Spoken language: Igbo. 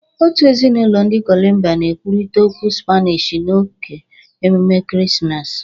Otu ezinụlọ ndị Kolombia na-ekwurịta okwu Spanish n'oge ememe ekeresimesi,